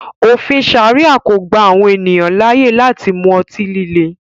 Ofin Sharia ko gba awọn eniyan laaye lati mu ọti-lile